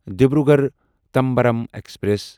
Dibrugarh Tambaram express